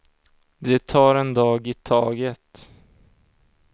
De tar en dag i taget.